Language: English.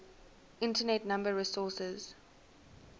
internet number resources